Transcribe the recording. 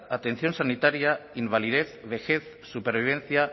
atención sanitaria invalidez vejez supervivencia